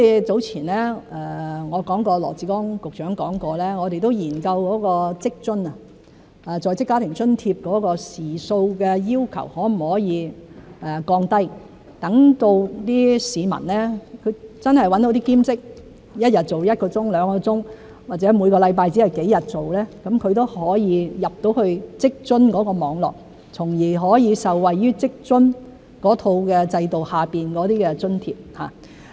早前我提及羅致光局長曾說我們有研究在職家庭津貼時數的要求可否降低，讓市民找到兼職，一日做一兩個小時，或每星期做幾天，都可以進入職津網絡，從而可以受惠於職津制度下的津貼。